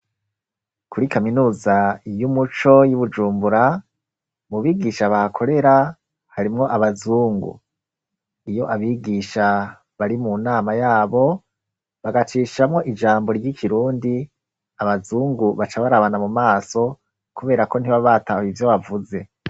Kuri kaminuza iyo umuco y'ibujumbura mu bigisha bahakorera harimwo abazungu iyo abigisha bari mu nama yabo bagacishamwo ijambo ry'ikirundi abazungu baca barabana mu maso, kubera ko ntiba batahe ivyo bavuze.